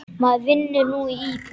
Maður vinnur nú í búð.